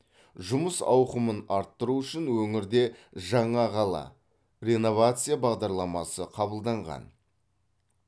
жұмыс ауқымын арттыру үшін өңірде жаңа қала реновация бағдарламасы қабылданған